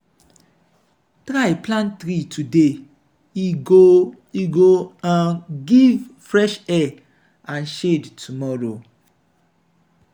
try plant tree today e go e go um give fresh air and shade tomorrow.